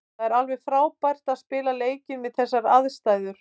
Það var alveg frábært að spila leikinn við þessar aðstæður.